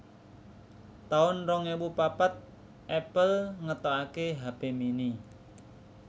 taun rong ewu papat Apple ngetokaké hape mini